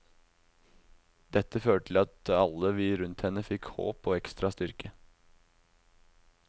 Dette førte til at alle vi rundt henne fikk håp og ekstra styrke.